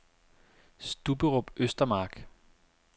Stubberup Østermark